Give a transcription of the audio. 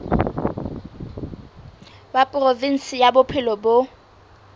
wa provinse ya bophelo bo